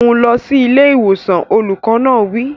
Mú un lọ sí ilé ìwòsàn! Olùkọ́ náà wí.